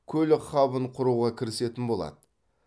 көлік хабын құруға кірісетін болады